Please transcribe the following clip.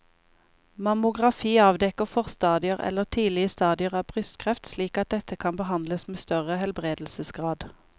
Mammografi avdekker forstadier eller tidlige stadier av brystkreft slik at dette kan behandles med større helbredelsesgrad.